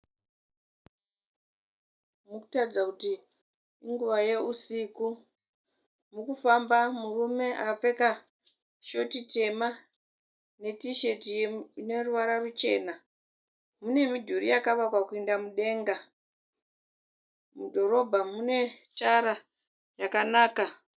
Murikutarudza kuti inguva yewusiku. Mukufamba murume akapfeka shoti tema ne tisheti ineruvara ruchena. Munemidhuri yakavakwa kuyenda mudenga. Mudhorobha munetara yakanaka.